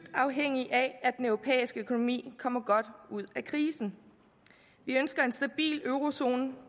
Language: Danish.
afhængig af at den europæiske økonomi kommer godt ud af krisen vi ønsker en stabil eurozone